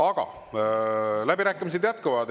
Aga läbirääkimised jätkuvad.